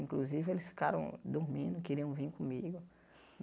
Inclusive, eles ficaram dormindo, queriam vim comigo.